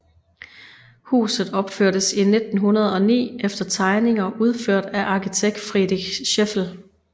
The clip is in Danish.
Huset opførtes i 1909 efter tegninger udført af arkitekt Friedrich Scheffel